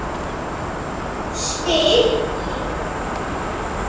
spyr Lídó.